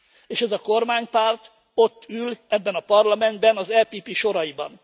És ez a kormánypárt ott ül, ebben a parlamentben az EPP soraiban.